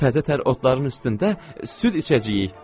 Təzə tər otların üstündə süd içəcəyik.